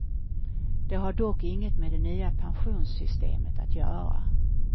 Det har dock inget med det nya pensionssystemet att göra.